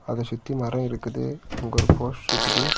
அத சுத்தி மரம் இருக்குது அங்க ஒரு போஸ்ட் இருக்குது .